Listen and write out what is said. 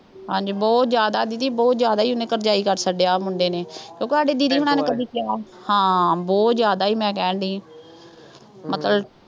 ਹਾਂਜੀ ਬਹੁਤ ਜ਼ਿਆਦਾ ਦੀਦੀ, ਬਹੁਤ ਜ਼ਿਆਦਾ ਹੀ ਉਹਨੇ ਕਰਜ਼ਾਈ ਕਰ ਛੱਡਿਆ ਮੁੰਡੇ ਨੇ ਕਿਉਂਕਿ ਸਾਡੇ ਦੀਦੀ ਹੁਣਾਂ ਨੇ ਕਦੀ ਕਿਹਾ, ਹਾਂ ਬਹੁਤ ਜ਼ਿਆਦਾ ਹੀ ਮੈਂ ਕਹਿਣ ਡੇਈ ਹਾਂ ਮਤਲਬ